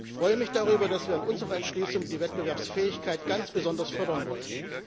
Ich freue mich darüber, dass wir in unserer Entschließung die Wettbewerbsfähigkeit ganz besonders fördern wollen.